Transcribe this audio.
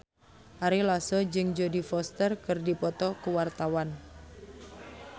Ari Lasso jeung Jodie Foster keur dipoto ku wartawan